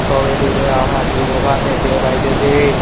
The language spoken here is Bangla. ছবিটিতে আমরা একটি দোকান দেখতে পাইতেসি।